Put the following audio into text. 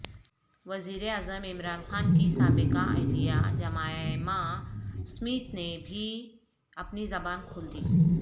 وزیراعظم عمران خان کی سابقہ اہلیہ جمائمہ اسمتھ نے بھی اپنی زبان کھولی دی